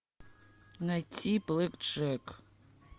найти блэк джек